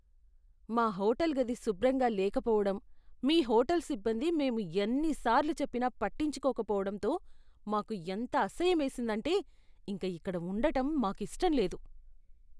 మా హోటల్ గది శుభ్రంగా లేకపోవడం, మీ హోటల్ సిబ్బంది మేము ఎన్ని సార్లు చెప్పినా పట్టించుకోక పోవడంతో మాకు ఎంత అసహ్యమేసిందంటే ఇంక ఇక్కడ ఉండటం మాకు ఇష్టం లేదు.